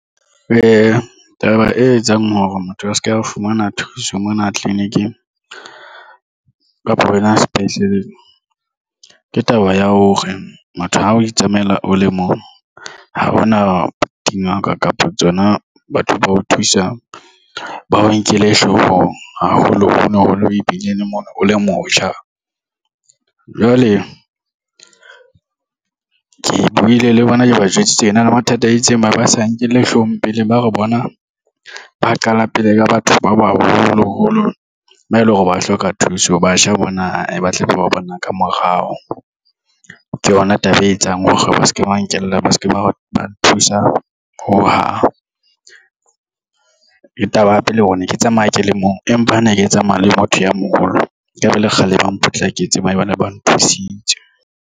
Ee, taba e etsang hore motho a se ke a fumana thuso mona tleliniking kapa hona sepetleleng ke taba ya hore motho ha o itsamaela o le mong ha hona dingaka kapa tsona batho ba o thusang ba o nkele hloohong haholo holo holo e bileng mono o le motjha. Jwale ke buile le bona ke ba jwetse tsena le mathata a itseng ba sa nkelle hloohong pele ba re bona ba qala pele ka batho ba baholoholo, ba eleng hore ba hloka thuso. Batjha bona ba tle ba ba bona ka morao ke yona taba e etsang hore ba seke ba nkela ba seke ba ba nthusa ho hang. Ke taba ya pele hore ne ke tsamaya ke le mong, empa ha ne ke tsamaya le motho ya moholo ekaba le kgale ba potlaketse ba ne ba nthusitse.